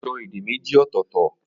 Ó n so èdè méjì ọ̀tọ̀ọ̀tọ̀